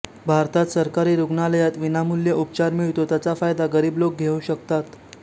भारतात सरकारी रुग्णालयात विनामूल्य उपचार मिळतो त्याचा फायदा गरीब लोक घेऊ शकतात